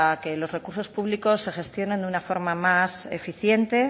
que los recursos públicos se gestionen de una forma más eficiente